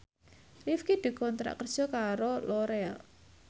Rifqi dikontrak kerja karo Loreal